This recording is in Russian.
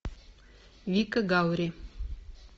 вика гаври